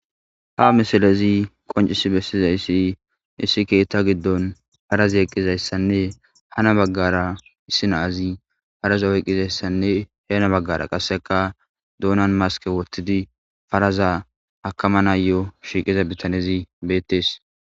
Ha missilezi qonciss besizayssa issi keththa gidoni parazi eqidayssane hanna bagar issi na'azi parazza oyqizayssanne henna bagara qassekka doonan maskke wothidi paraza akamanayo shiqiza biththanezzi bethess